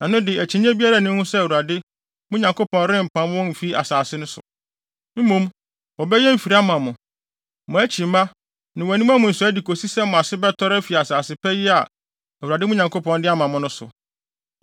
ɛno de akyinnye biara nni ho sɛ Awurade, mo Nyankopɔn rempam wɔn mfi mo asase so. Mmom, wɔbɛyɛ mfiri ama mo, mo akyi mmaa, ne mo aniwa mu nsɔe de kosi sɛ mo ase bɛtɔre afi asase pa yi a Awurade, mo Nyankopɔn de ama mo no so.